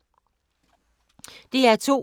DR2